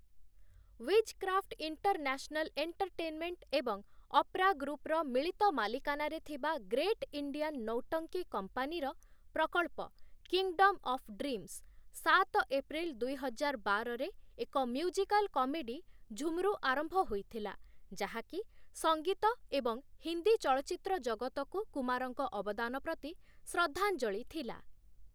Wizcraft international entertainment ଏବଂ ଅପ୍ରା ଗ୍ରୁପ୍‌ର ମିଳିତ ମାଲିକାନାରେ ଥିବା ଗ୍ରେଟ୍ ଇଣ୍ଡିଆନ ନୌଟଙ୍କି କମ୍ପାନୀର ପ୍ରକଳ୍ପ 'କିଙ୍ଗଡ଼ମ୍‌ ଅଫ୍‌ ଡ୍ରିମ୍ସ', ସାତ ଏପ୍ରିଲ ଦୁଇହଜାର ବାରରେ, ଏକ ମ୍ୟୁଜିକାଲ କମେଡି 'ଝୁମ୍‌ରୁ' ଆରମ୍ଭ ହୋଇଥିଲା, ଯାହାକି ସଙ୍ଗୀତ ଏବଂ ହିନ୍ଦୀ ଚଳଚ୍ଚିତ୍ର ଜଗତକୁ କୁମାରଙ୍କ ଅବଦାନ ପ୍ରତି ଶ୍ରଦ୍ଧାଞ୍ଜଳି ଥିଲା ।